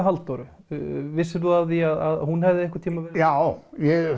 Halldóru vissir þú af því að hún hefði einhvern tímann já